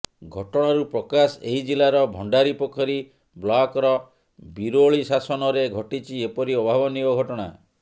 ଘଟଣାରୁ ପ୍ରକାଶ ଏହି ଜିଲାର ଭଣ୍ଡାରିପୋଖରୀ ବ୍ଲକ୍ର ବିରୋଳି ଶାସନରେ ଘଟିଛି ଏପରି ଅଭାବନୀୟ ଘଟଣା